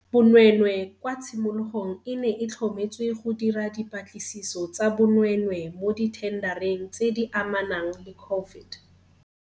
Bonweenwee kwa tshimologong e ne e tlhometswe go dira dipa tlisiso tsa bonweenwee mo dithendareng tse di amanang le COVID.